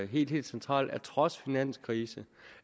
helt helt centralt trods finanskrisen